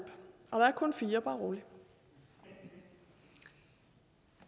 og der er kun fire bare rolig i